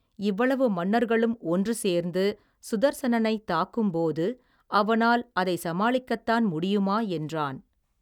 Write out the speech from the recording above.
இவ்வளவு மன்னர்களும் ஒன்று சேர்ந்து சுதர்சனனை தாக்கும் போது அவனால் அதை சமாளிக்கத்தான் முடியுமா என்றான்.